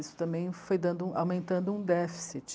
Isso também foi dando, aumentando um déficit.